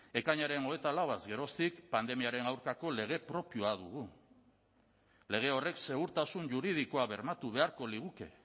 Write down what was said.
ekainaren hogeita lauaz geroztik pandemiaren aurkako lege propioa dugu lege horrek segurtasun juridikoa bermatu beharko liguke